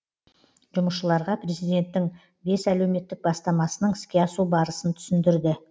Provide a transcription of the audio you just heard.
жұмысшыларға президенттің бес әлеуметтік бастамасының іске асу барысын түсіндірді